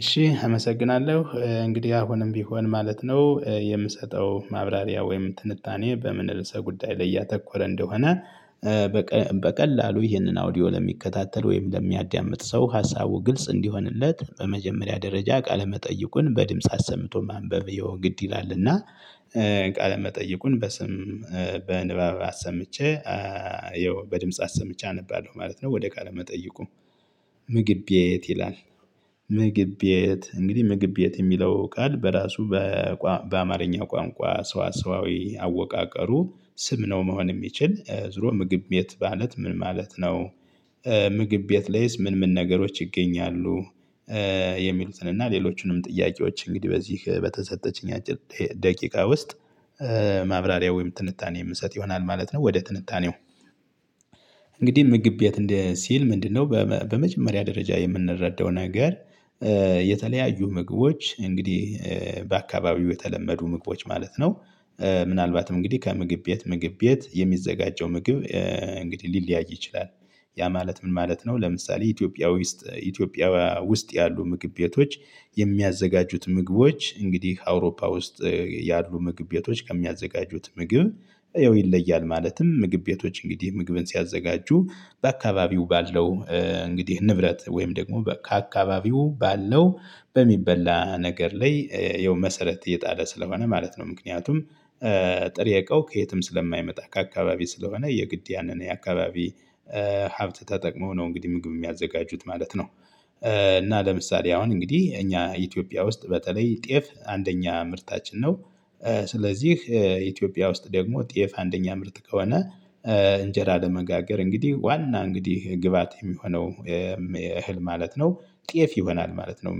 እሺ አመሰግናለሁ እንግዲህ አሁንም ቢሆን ማለት ነው የምሰጠው ማብራሪያ ወይም ትንታኔ በምን ርዕሰ ጉዳይ ላይ ያተኮረ እንደሆነ። በቀላሉ ይህንን አውዲዮ ለሚከታተል ወይም ለሚያዳምጥ ሰው ሀሳቡ ግልጽ እንዲሆንለት በመጀመሪያ ደረጃ ቃለ መጠይቁን በድምጽ አሰምቶ ማንበብ ያው ግድ ይላል እና። ቃለ መጠይቁን በስም በንባብ አሰምቼ ይኸው በድምጽ አሰምቼ አነባለሁ ማለት ነው። ወደ ካለ መጠይቁ። ምግብ ቤት ይላል። ምግብ ቤዬት እንግዲህ ምግብ ቤዬት የሚለው ቃል በራሱ። በአማርኛ ቋንቋ ሰዋሰዋዊ አወቃቀሩ ስም ነው መሆን የሚችል ዙሮ ምግብ ቤት ማለት ምን ማለት ነው። ምግብ ቤት ላይስ ምን ምን ነገሮች ይገኛሉ? የሚሉትን እና ሌሎቹንም ጥያቄዎች እንግዲህ በዚህ በተሰጠችኝ አጭር ደቂቃ ውስጥ ማብራሪያ ወይም ትንታኔ የምሰጥ ይሆናል ማለት ነው። ወደ ትንታኔው እንግዲህ ምግብ ቤት ሲል ምንድነው? በመጀመሪያ ደረጃ የምንረዳው ነገር። የተለያዩ ምግቦች እንግዲህ በአካባቢው የተለመዱ ምግቦች ማለት ነው። ምናልባትም እንግዲህ ከምግብ ቤት ምግብ ቤት የሚዘጋጀው ምግብ እንግዲህ ሊለያይ ይችላል። ያ ማለት ምን ማለት ነው? ለምሳሌ ኢትዮጵያ ዉስጥ ኢትዮጵያዊያ ውስጥ ያሉ ምግብ ቤቶች የሚያዘጋጁት ምግቦች እንግዲህ አውሮፓ ውስጥ ያሉ ምግብ ቤቶች ከሚያዘጋጁት ምግብ ይለያል። ማለትም ምግብ ቤቶች እንግዲህ ምግብን ሲያዘጋጁ በአካባቢው ባለው እንግዲህ ንብረት ወይም ደግሞ ካአከባቢው ባለው በሚበላ ነገር ላይ ይኸው መሰረት የጣለ ስለሆነ ማለት ነው። ምክንያቱም። ጥሬ እቃው ከየትም ስለማይመጣ ከአካባቢ ስለሆነ የግድ ያንን የአካባቢ ሀብት ተጠቅሞ ነው እንግዲህ ምግብ የሚያዘጋጁት ማለት ነው። እና ለምሳሌ አሁን እንግዲህ እኛ ኢትዮጵያ ውስጥ በተለይ ጤፍ አንደኛ ምርታችን ነው። ስለዚህ ኢትዮጵያ ውስጥ ደግሞ ጤፍ አንደኛ ምርት ከሆነ። እንጀራ ለመጋገር እንግዲህ ዋና እንግዲህ ግብአት የሚሆነው እህል ማለት ነው። ጤፍ ይሆናል ማለት ነው።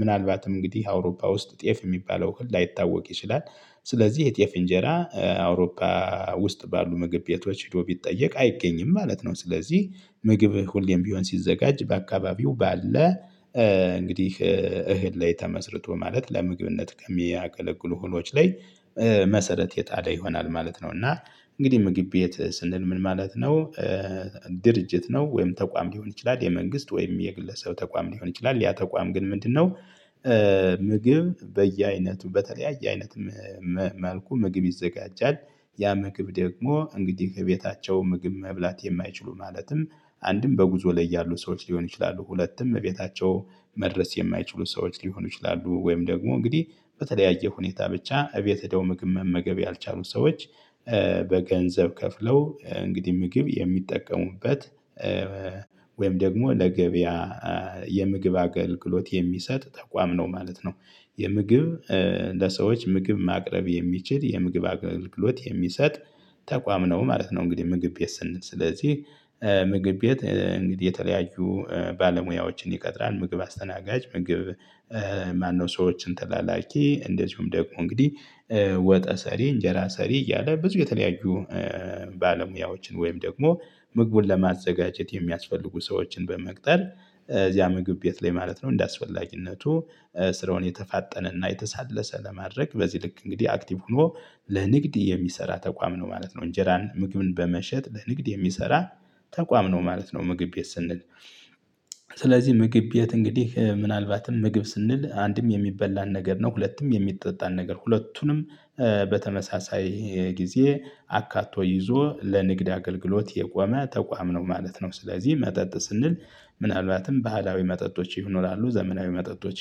ምናልባትም እንግዲህ አውሮፓ ውስጥ ጤፍ የሚባለው እህል ላይታወቅ ይችላል። ስለዚህ የጤፍ እንጀራ አውሮፓ ውስጥ ባሉ ምግብ ቤቶች ሄዶ ቢጠየቅ አይገኝም ማለት ነው። ስለዚህ ምግብ ሁሌም ቢሆን ሲዘጋጅ በአካባቢው ባለ እንግዲህ እህል ላይ ተመስርቶ ማለት ለምግብነት ከሚያገለግሉ እህሎች ላይ መሰረት የጣለ ይሆናል ማለት ነው። እና እንግዲህ ምግብ ቤት ስንል ምን ማለት ነው? ድርጅት ነው ወይም ተቋም ሊሆን ይችላል የመንግስት ወይም የግለሰብ ተቋም ሊሆን ይችላል። ያ ተቋም ግን ምንድነው? ምግብ በየአይነቱ በተለያየ አይነት መልኩ ምግብ ይዘጋጃል። ያ ምግብ ደግሞ እንግዲህ እቤታቸው ምግብ መብላት የማይችሉ ማለትም አንድም በጉዞ ላይ ያሉ ሰዎች ሊሆኑ ይችላሉ ሁለቱም እቤታቸው መድረስ የማይችሉ ሰዎች ሊሆኑ ይችላሉ ወይም ደግሞ እንግዲህ በተለያየ ሁኔታ ብቻ እቤት ሄደው ምግብ መመገብ ያልቻሉ ሰዎች። በገንዘብ ከፍለው እንግዲህ ምግብ የሚጠቀሙበት ወይም ደግሞ ለገበያ የምግብ አገልግሎት የሚሰጥ ተቋም ነው ማለት ነው። የምግብ ለሰዎች ምግብ ማቅረብ የሚችል የምግብ አገልግሎት የሚሰጥ ተቋም ነው ማለት ነው። እንግዲህ ምግብ ቤት ስንል ስለዚህ። ምግብ ቤት እንግዲህ የተለያዩ ባለሙያዎችን ይቀጥራል ምግብ አስተናጋጅ ምግብ ማነው? ሰዎችን ተላላኪ እንደዚሁም ደግሞ እንግዲህ ወጠ ሰሪ እንጀራ ሰሪ እያለ ብዙ የተለያዩ ባለሙያዎችን ወይም ደግሞ ምግቡን ለማዘጋጀት የሚያስፈልጉ ሰዎችን በመቅጠር እዚያ ምግብ ቤት ላይ ማለት ነው። እንደአስፈላጊነቱ ስራውን የተፋጠነና የተሳለሰ ለማድረግ በዚህ ልክ እንግዲህ አክቲቭ ሆኖ ለንግድ የሚሰራ ተቋም ነው ማለት ነው። እንጀራን ምግብን በመሸጥ ለንግድ የሚሰራ ተቋም ነው ማለት ነው። ምግብ ቤት ስንል። ስለዚህ ምግብ ቤት እንግዲህ ምናልባትም ምግብ ስንል አንድም የሚበላን ነገር ነው ሁለትም የሚጠጣን ነገር ሁለቱንም በተመሳሳይ ጊዜ አካቶ ይዞ ለንግድ አገልግሎት የቆመ ተቋም ነው ማለት ነው። ስለዚህ መጠጥ ስንል። ምናልባትም ባህላዊ መጠጦች ይኖራሉ ዘመናዊ መጠጦች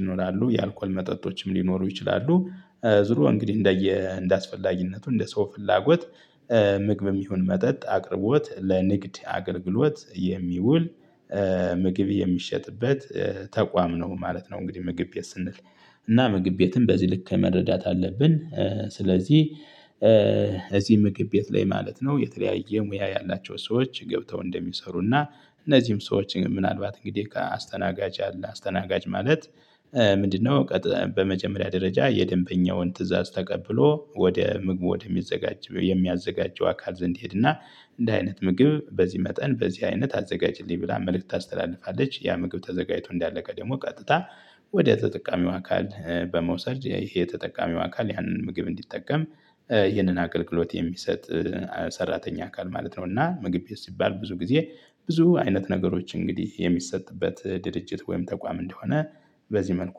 ይኖራሉ የአልኮል መጠጦችም ሊኖሩ ይችላሉ። ዞሮ እንግዲህ እንደ አስፈላጊነቱ እንደ ሰው ፍላጎት ምግብም ይሁን መጠጥ አቅርቦት ለንግድ አገልግሎት የሚውል ምግብ የሚሸጥበት ተቋም ነው ማለት ነው። እንግዲህ ምግብ ቤት ስንል። እና ምግብ ቤትን በዚህ ልክ መረዳት አለብን። ስለዚህ። እዚህ ምግብ ቤት ላይ ማለት ነው የተለያየ ሙያ ያላቸው ሰዎች ገብተው እንደሚሰሩና እነዚህም ሰዎች ግን ምናልባት እንግዲህ ከ አስተናጋጅ አለ አስተናጋጅ ማለት ምንድነው? በመጀመሪያ ደረጃ የደንበኛውን ትእዛዝ ተቀብሎ ወደ ምግብ ወደሚዘጋጅ የሚያዘጋጀው አካል ዘንድ ይሄድና እንደ አይነት ምግብ በዚህ መጠን በዚህ አይነት አዘጋጅልኝ ብላ መልእክት ታስተላልፋለች። ያ ምግብ ተዘጋጅቶ እንዳለቀ ደግሞ ቀጥታ ወደ ተጠቃሚው አካል በመውሰድ ይሄ ተጠቃሚው አካል ያንን ምግብ እንዲጠቀም ይህንን አገልግሎት የሚሰጥ ሰራተኛ አካል ማለት ነው። እና ምግብ ሲባል ብዙ ጊዜ ብዙ አይነት ነገሮች እንግዲህ የሚሰጥበት ድርጅት ወይም ተቋም እንደሆነ። በዚህ መልኩ